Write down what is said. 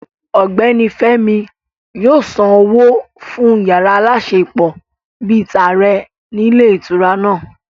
Ọ̀gbẹ́ni Fémi yóò san owó fún yàrá aláṣepọ̀ bíi tààrẹ ní ilé ìtura náà